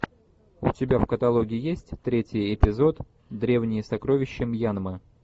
у тебя в каталоге есть третий эпизод древние сокровища мьянмы